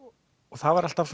það var alltaf